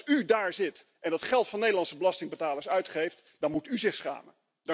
En als u daar zit en dat geld van Nederlandse belastingbetalers uitgeeft, dan moet u zich schamen.